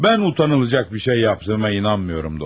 Mən utanılacaq bir şey etdiyimə inanmıram, dostum.